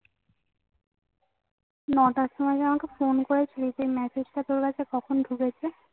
নটার সময় যে আমাকে ফোন করেছিলি সেই message টা তোর কাছে কখন ঢুকেছে